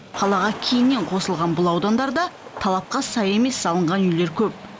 қалаға кейіннен қосылған бұл аудандарда талапқа сай емес салынған үйлер көп